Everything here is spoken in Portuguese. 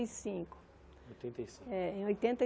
E cinco Oitenta e cinco É oitenta e